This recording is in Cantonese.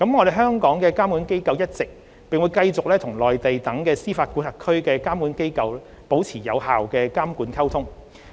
香港的監管機構一直，並繼續與內地等司法管轄區的監管機構保持有效的監管溝通。